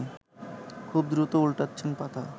খুব দ্রুত ওল্টাচ্ছেন পাতা